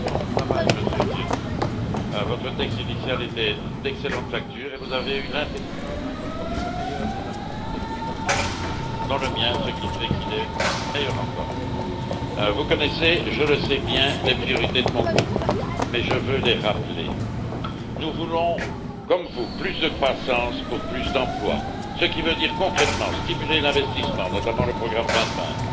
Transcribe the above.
Très bon travail, Monsieur Viotti, votre texte initial était d'excellente facture et vous avez eu l'intelligence d'incorporer le meilleur des amendements des groupes politiques, dont le mien, ce qui fait qu'il est meilleur encore. Vous connaissez, je le sais bien, les priorités de mon groupe, mais je veux les rappeler. Premièrement, nous voulons, comme vous, plus de croissance pour plus d'emplois, ce qui veut dire concrètement stimuler l'investissement, notamment le programme 2020,